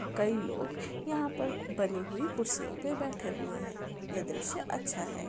कई लोग यहां पर बनी हुई कुर्सियों पे बैठे हुए है यह दृश्य अच्छा है।